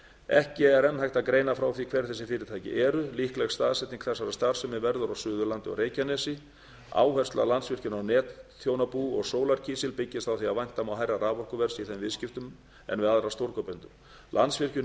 ekki er enn hægt að greina frá því hver þessi fyrirtæki eru líkleg staðsetning þessarar starfsemi verður á suðurlandi og reykjanesi áhersla á landsvirkjun og netþjónabú og sólarkísil byggist á því að vænta má hærra raforkuverðs í þeim viðskiptum en við aðra stórkaupendur landsvirkjun